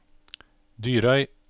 Dyrøy